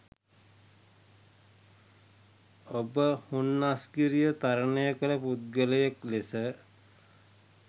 ඔබ හුන්නස්ගිරිය තරණය කල පුද්ගලයෙක් ලෙස